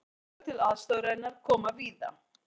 Framlög til aðstoðarinnar koma víða